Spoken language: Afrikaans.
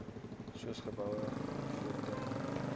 soos geboue voertuie